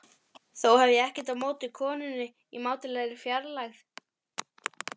Þó hef ég ekkert á móti konunni í mátulegri fjarlægð.